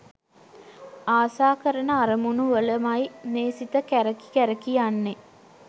ආසා කරන අරමුණු වලමයි මේ සිත කැරකි කැරකි යන්නෙ.